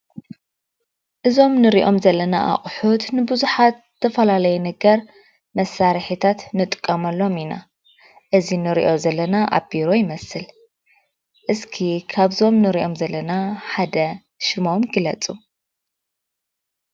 እዞም ንሪኦም ዘለና አቁሑት ንብዙሓት ዝተፈላለዩ ነገር መሳርሕታት ንጥቀመሎም ኢና። እዚ ንሪኦ ዘለና አብ ቢሮ ይመስል። እስኪ ካብዞም ንሪኦም ዘለና ሓደ ሽሞም ግለፁ?